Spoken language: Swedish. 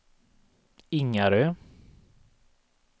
Ingarö